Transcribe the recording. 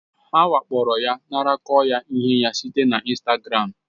Ha wakporoya, nakoro ya ihe ya site na Instagram